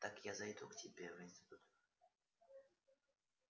так я зайду к тебе в институт